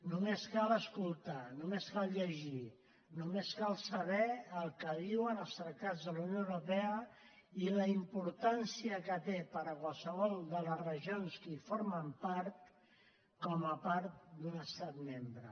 només cal escoltar només cal llegir només cal saber el que diuen els tractats de la unió europea i la importància que té per a qualsevol de les regions que en formen part com a part d’un es·tat membre